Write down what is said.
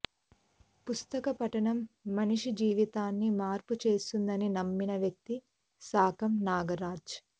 పుస్తక పఠనం మనిషి జీవితాన్ని మార్పు చేస్తుందని నమ్మిన వ్యక్తి సాకం నాగరాజ